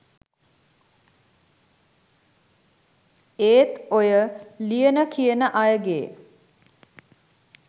ඒත් ඔය ලියන කියන අයගෙ